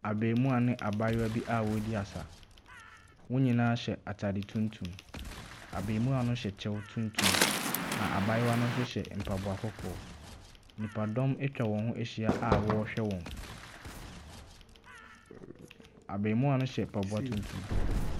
Abaamua ne abaayewa bi a wɔɔdi asa, wɔn nyinaa hyɛ ataade tuntum, abaamua no hyɛ kyɛw tuntum, na abaayewa no nso hyɛ mpaboa kɔkɔɔ. Nnipa dɔm atwa wɔn ho ahyia a wɔɔhwɛ wɔn, abaamua no hyɛ mpaboa tuntum.